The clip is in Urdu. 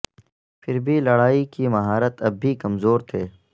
پھر بھی لڑائی کی مہارت اب بھی کمزور تھے